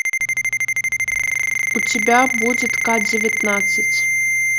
у тебя будет ка девятнадцать